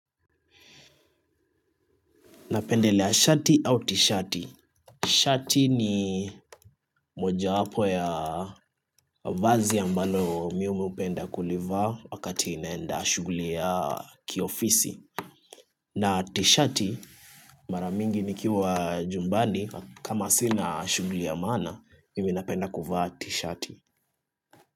Napendelea shati au tishati. Shati ni moja wapo ya vazi ambalo mimi upenda kuliva wakati naenda shuguli ya kiofisi. Na tishati maramingi nikiwa jumbani kama sina shuguli ya mana mimi napenda kuvaa tishati.